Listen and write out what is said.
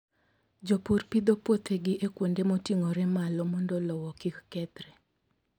Jopur pidho puothegi e kuonde moting'ore malo mondo lowo kik kethre.